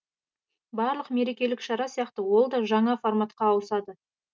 барлық мерекелік шара сияқты ол да жаңа форматқа ауысады